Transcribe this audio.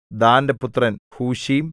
ദാന്റെ പുത്രൻ ഹൂശീം